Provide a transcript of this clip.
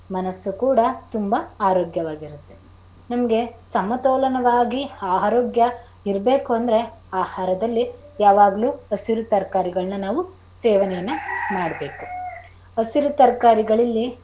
ಮನಸ್ಸು ಕೂಡ ತುಂಬಾ ಆರೋಗ್ಯವಾಗಿರುತ್ತೆ, ನಿಮಗೆ ಸಮತೋಲನವಾಗಿ ಆರೋಗ್ಯ ಇರಬೇಕು ಅಂದ್ರೆ ಆಹಾರದಲ್ಲಿ ಯಾವಾಗಳು ಹಸಿರು ತರಕಾರಿಗಳನ್ನ ನಾವು ಸೇವನೆಯನ್ನು ಮಾಡಬೇಕು.